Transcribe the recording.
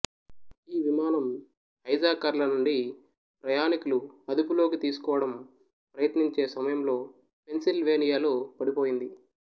ఈ విమానం హైజాకర్ల నుండి ప్రయాణీకులు అదుపులోకి తీసుకోవడం ప్రయత్నించే సమయంలో పెంసిల్వేనియాలో పడిపోయింది